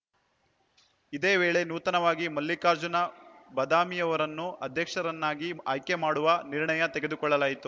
ಇದೇ ವೇಳೆ ನೂತನವಾಗಿ ಮಲ್ಲಿಕಾರ್ಜುನ ಬದಾಮಿಯವರನ್ನು ಅಧ್ಯಕ್ಷರನ್ನಾಗಿ ಆಯ್ಕೆ ಮಾಡುವ ನಿರ್ಣಯ ತೆಗೆದುಕೊಳ್ಳಲಾಯಿತು